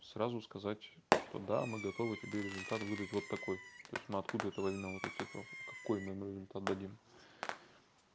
сразу сказать что да мы готовы тебе результат выдать вот такой то есть мы откуда это возьмём эту цифру какой мы им результат дадим